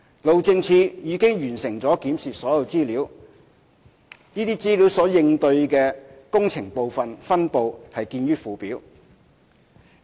路政署已完成檢視所有資料，其應對的工程部分分布見附件。